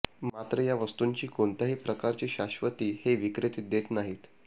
मात्र या वस्तूंची कोणत्याही प्रकारची शाश्वती हे विक्रेते देत नाहीत